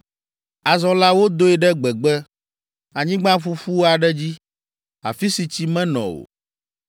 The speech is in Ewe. Azɔ la, wodoe ɖe gbegbe, anyigba ƒuƒu aɖe dzi, afi si tsi menɔ o.